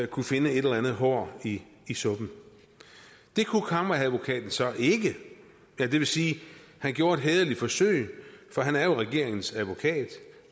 kunne finde et eller andet hår i i suppen det kunne kammeradvokaten så ikke eller det vil sige han gjorde et hæderligt forsøg for han er jo regeringens advokat